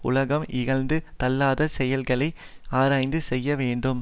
உலகம் இகழ்ந்து தள்ளாத செயல்களை ஆராய்ந்து செய்ய வேண்டும்